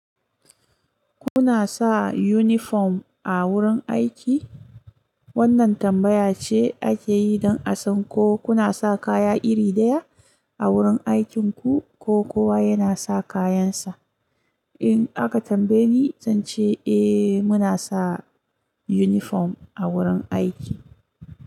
Kuna sa uniform a wurin aiki? Wannan tambaya ce ake yi don a san ko kuna sa kaya iri ɗaya a wurin aikinku ko kowa yana sa kayansa. In aka tambaye ni, zan ce eh muna sa uniform a wurin aiki.